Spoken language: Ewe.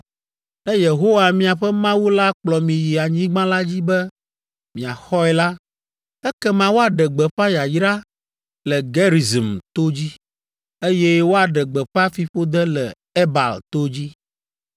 Ne Yehowa, miaƒe Mawu la kplɔ mi yi anyigba la dzi be miaxɔe la, ekema woaɖe gbeƒã yayra le Gerizim to dzi, eye woaɖe gbeƒã fiƒode le Ebal to dzi!